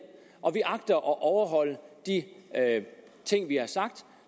og vi agter at overholde de ting vi har sagt